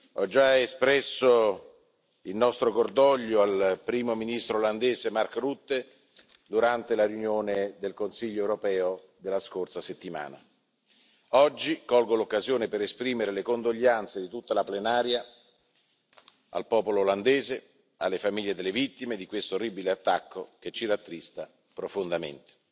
Ho già espresso il nostro cordoglio al Primo ministro olandese, Mark Rutte, durante la riunione del Consiglio europeo della scorsa settimana. Oggi colgo l'occasione per esprimere le condoglianze dell'intera Aula al popolo olandese e alle famiglie delle vittime di questo terribile attentato che ci rattrista profondamente.